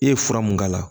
E ye fura mun k'a la